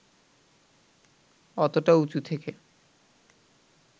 অতটা উঁচু থেকে